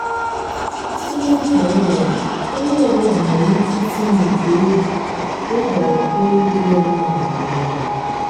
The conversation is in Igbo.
site n'ekere ùwà ewu ọbụla nwere ike isi n'igwe ewu ịhọrọ ewu dị ya mma maka ọgbụgba.